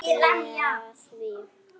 Ég stefni að því.